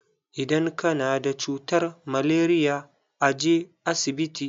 Idan ka na da cutar malaria, a je asibiti.